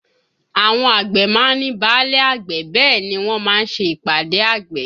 Àwọn àgbẹ̀ má ń ní báálẹ̀ àgbẹ̀ bẹ́ẹ̀ ni wọ́n má ń ṣe ìpàdé àgbẹ̀